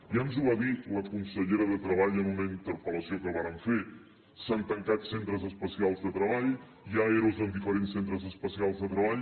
ja ens ho va dir la consellera de treball en una interpel·lació que vàrem fer s’han tancat centres especials de treball hi ha ero en diferents centres especials de treball